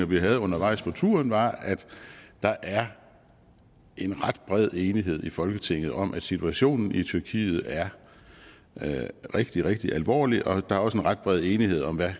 vi havde undervejs på turen var at der er en ret bred enighed i folketinget om at situationen i tyrkiet er rigtig rigtig alvorlig og der er også en ret bred enighed om hvad